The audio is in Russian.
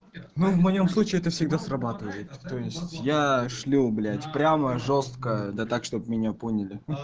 ну в моем случае это всегда срабатывает то есть я шлю блять прямо жёстко да так чтобы меня поняли м м